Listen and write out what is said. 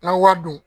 N'an ye wari don